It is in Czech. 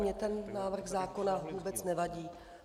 Mně ten návrh zákona vůbec nevadí.